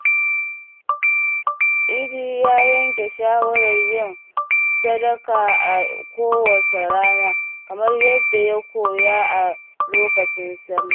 Idi ya yanke shawarar yin sadaka a kowace rana kamar yadda ya koya a lokacin Sallah.